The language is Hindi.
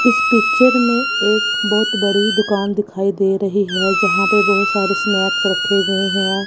इस पिक्चर में एक बहोत बड़े दुकान दिखाई दे रही है जहाँ पे बहोत सारे स्नैक्स रखे गए हैं।